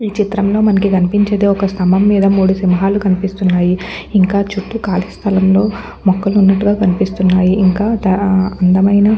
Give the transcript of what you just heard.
ఈచిత్రంలో మనకి కనిపించేదిఒక్క స్థంభం మీద మూడు సింహాలు కనిపిస్తున్నాయి ఇంకా చుట్టూ కాలి స్థలంలో మొక్కలు ఉన్నట్టుగా కనిపిస్తునాయిఇంకా అందమైన --